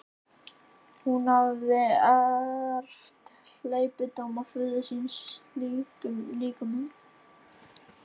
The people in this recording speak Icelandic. Hún hafði erft hleypidóma föður síns í slíkum málum.